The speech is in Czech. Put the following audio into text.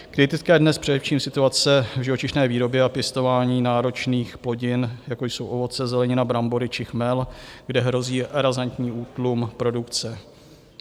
Kritická je dnes především situace v živočišné výrobě a pěstování náročných plodin, jako jsou ovoce, zelenina, brambory či chmel, kde hrozí razantní útlum produkce.